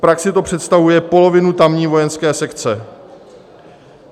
V praxi to představuje polovinu tamní vojenské sekce.